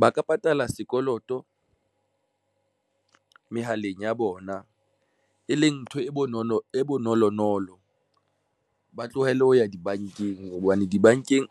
Ba ka patala sekoloto mehaleng ya bona, e leng ntho e bonolo, e bonolonolo. Ba tlohelle ho ya di bankeng hobane dibankeng